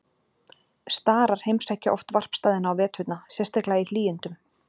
Starar heimsækja oft varpstaðina á veturna, sérstaklega í hlýindum.